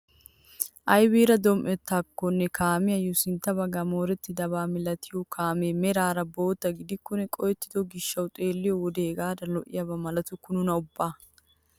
Aybiira dom"ettaakonne kaamiyaayo sintta baggay moorettidaba milatiyoo kaamee meraara bootta gidikonne qohettido gishshawu xeelliyoo wode hegadan lo"iyaaba maltukku nuna ubba!